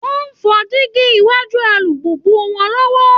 Wọn ń fọ diíígí iwájú alùpùpù wọn lọ́wọ́